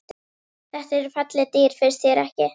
Þetta eru falleg dýr, finnst þér ekki?